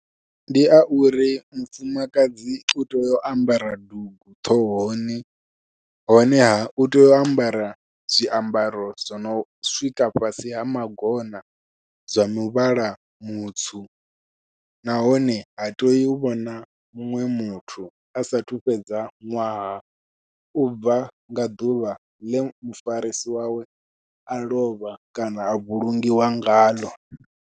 Ndi ya uri mufumakadzi u tea u ambara dugu ṱhohoni, honeha u tea u ambara zwiambaro zwi no swika fhasi ha magona zwa muvhala mutswu, nahone ha tei u vhona muṅwe muthu a sathu fhedza ṅwaha u bva nga ḓuvha ḽe mufarisi wawe a lovha kana a vhulungiwa ngaḽo.